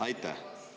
Aitäh!